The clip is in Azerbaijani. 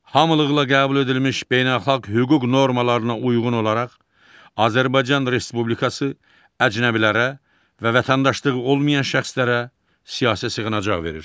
Hamılıqla qəbul edilmiş beynəlxalq hüquq normalarına uyğun olaraq Azərbaycan Respublikası əcnəbilərə və vətəndaşlığı olmayan şəxslərə siyasi sığınacaq verir.